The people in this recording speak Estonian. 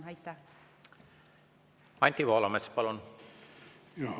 Anti Poolamets, palun!